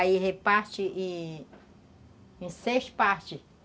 Aí reparte em seis partes.